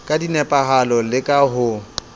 ka nepahalo le ka ho